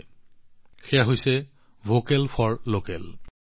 আপোনালোক সকলোৱে জানে এয়া হৈছে লোকেলৰ বাবে ভোকেলৰ সংকল্প